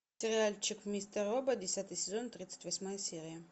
сериальчик мистер робот десятый сезон тридцать восьмая серия